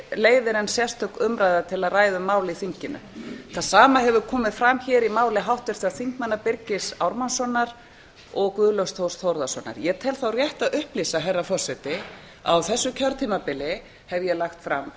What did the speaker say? leiðir en sérstök umræða til að ræða um mál í þinginu það sama hefur komið fram hér í máli háttvirtra þingmanna birgis ármannssonar og guðlaugs þórs þórðarsonar ég tel þá rétt að upplýsa herra forseti að á þessu kjörtímabili hef ég lagt fram